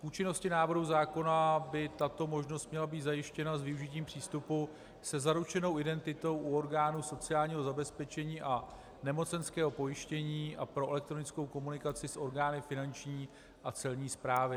K účinnosti návrhu zákona by tato možnost měla být zajištěna s využitím přístupu se zaručenou identitou u orgánů sociálního zabezpečení a nemocenského pojištění a pro elektronickou komunikaci s orgány Finanční a Celní správy.